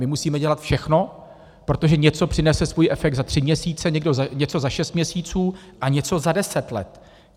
My musíme dělat všechno, protože něco přinese svůj efekt za tři měsíce, něco za šest měsíců a něco za deset let.